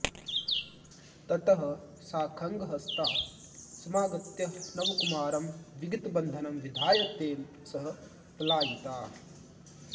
ततः सा खङ्गहस्ता समागत्य नवकुमारं विगतबन्धनं विधाय तेन सह पलायिता